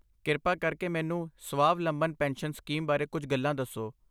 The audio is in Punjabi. ਕਿਰਪਾ ਕਰਕੇ ਮੈਨੂੰ ਸਵਾਵਲੰਬਨ ਪੈਨਸ਼ਨ ਸਕੀਮ ਬਾਰੇ ਕੁਝ ਗੱਲਾਂ ਦੱਸੋ।